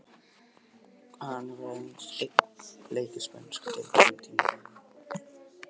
Hann hefur aðeins spilað einn leik í spænsku deildinni á tímabilinu.